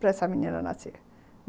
Para essa menina nascer.